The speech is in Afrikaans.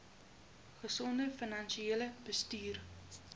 gesonde finansiële bestuur